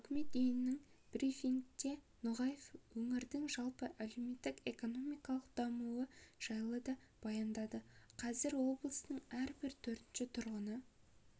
үкімет үйіндегі брифингте ноғаев өңірдің жалпы әлеуметтік-экономикалық дамуы жайлы да баяндады қазір облыстың әрбір төртінші тұрғыны